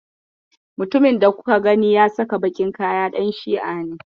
Mutumin da kuka gani ya saka baƙin kaya ɗan Shi'a ne.